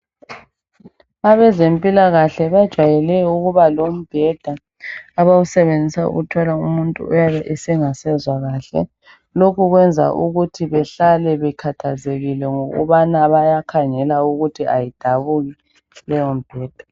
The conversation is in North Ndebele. Abezempilakahle bajwayele ukuba lombheda , abawusebenzisa ukuthwala umuntu oyabe engasezwa kahle. Lokhu kwenza ukuthi behlale bekhathazekile ,ngokubana bayakhangela ukuthi kayidabuki leyo mibheda.